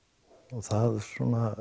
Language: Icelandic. og það svona